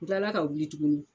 N tilala ka wuli tuguni